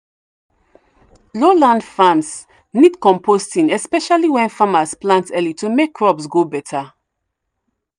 low land farms need composting especially when farmers plant early to make crops grow better.